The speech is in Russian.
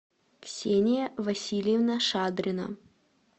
ксения васильевна шадрина